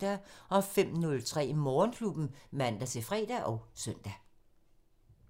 05:03: Morgenklubben (man-fre og søn)